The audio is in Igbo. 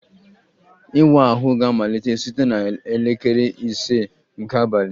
Ịwa ahụ ga-amalite site na elekere ise nke abalị